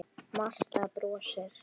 Marta brosir.